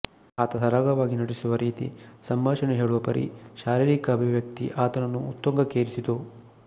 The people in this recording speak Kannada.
ಆತ ಸರಾಗವಾಗಿ ನಟಿಸುವ ರೀತಿ ಸಂಭಾಷಣೆ ಹೇಳುವ ಪರಿ ಶಾರೀರಿಕ ಅಭಿವ್ಯಕ್ತಿ ಆತನನ್ನು ಉತ್ತುಂಗಕ್ಕೇರಿಸಿತು